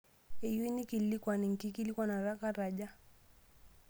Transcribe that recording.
Iyieu naikilikwan enkikilikwan kat aja?